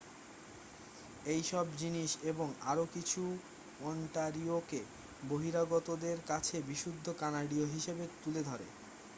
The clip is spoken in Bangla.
এইসব জিনিস এবং আরও কিছু ওন্টারিওকে বহিরাগতদের কাছে বিশুদ্ধ কানাডীয় হিসাবে তুলে ধরে